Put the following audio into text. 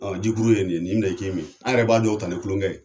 Jikuru ye nin ye, nin minɛ i k'i min, an yɛrɛ b'a dɔw ta ni kulonkɛ ye.